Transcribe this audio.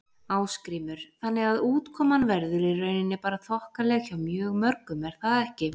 Ásgrímur: Þannig að útkoman verður í rauninni bara þokkaleg hjá mjög mörgum er það ekki?